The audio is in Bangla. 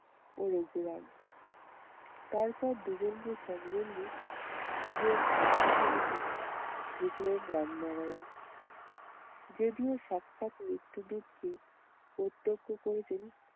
ও রঘুরাম। তারপর দুজন কে সঙ্গে নিয়ে নিজের এসে ঢুকলেন রামনারায়ণ। যদিও সাক্ষাৎ মৃত্যুদূতকে প্রতক্ষ করেছেন